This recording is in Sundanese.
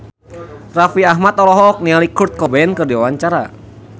Raffi Ahmad olohok ningali Kurt Cobain keur diwawancara